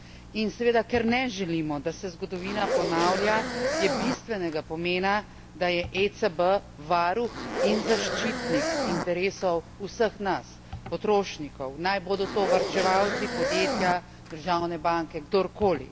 In ker seveda ne želimo, da se zgodovina ponavlja, je bistvenega pomena, da je ECB varuh in zaščitnik interesov vseh nas, potrošnikov, naj bodo to varčevalci, podjetja, državne banke, kdorkoli.